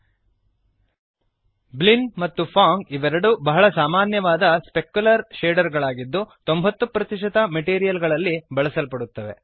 ಬ್ಲಿನ್ Blinn ಮತ್ತು Phong Phong ಇವೆರಡೂ ಬಹಳ ಸಾಮಾನ್ಯವಾದ ಸ್ಪೆಕ್ಯುಲರ್ ಶೇಡರ್ ಗಳಾಗಿದ್ದು 90 ಮೆಟೀರಿಯಲ್ ಗಳಲ್ಲಿ ಬಳಸಲ್ಪಡುತ್ತವೆ